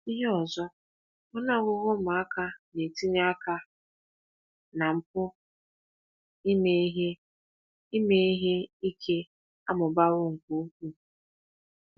Ihe ọzọ, ọnụ ọgụgụ ụmụaka na-etinye aka na mpụ ime ihe ime ihe ike amụbawo nke ukwuu.